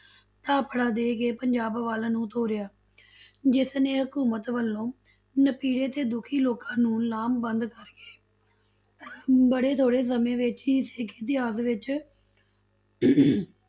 ਥਾਪੜਾ ਦੇਕੇ ਪੰਜਾਬ ਵੱਲ ਨੂੰ ਤੋਰਿਆ ਜਿਸਨੇ ਹਕੂਮਤ ਵੱਲੋਂ ਨਪੀੜੇ ਤੇ ਦੁਖੀ ਲੋਕਾਂ ਨੂੰ ਲਾਮਬੰਧ ਕਰਕੇ ਬੜੇ ਥੋੜੇ ਸਮੇਂ ਵਿੱਚ ਹੀ ਸਿੱਖ ਇਤਿਹਾਸ ਵਿੱਚ